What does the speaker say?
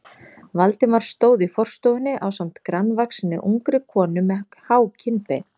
Valdimar stóð í forstofunni ásamt grannvaxinni, ungri konu með há kinnbein.